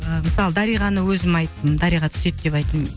ыыы мысалы дариғаны өзім айттым дариға түседі деп айттым